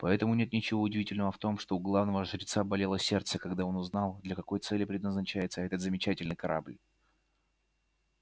поэтому нет ничего удивительного в том что у главного жреца болело сердце когда он узнал для какой цели предназначается этот замечательный корабль